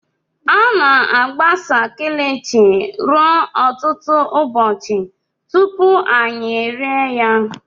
A na-agbasa kilishi ruo ọtụtụ ụbọchị tupu anyị rie ya.